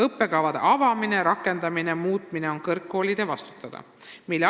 Õppekavade avamise, rakendamise ja muutmise eest vastutavad kõrgkoolid.